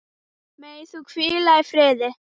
Megir þú hvíla í friði.